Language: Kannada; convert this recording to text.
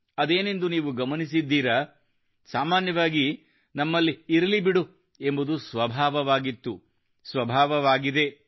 ಅದೇನೆಂದು ನೀವು ಗಮನಿಸಿದ್ದೀರಾ ಸಾಮಾನ್ಯವಾಗಿ ನಮ್ಮಲ್ಲಿ ಇರಲಿ ಬಿಡು ಎಂಬುದು ಸ್ವಭಾವವಾಗಿತ್ತು ಸ್ವಭಾವವಾಗಿದೆ